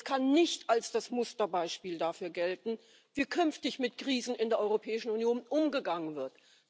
Und es kann nicht als das Musterbeispiel dafür gelten, wie künftig mit Krisen in der Europäischen Union umgegangen wird.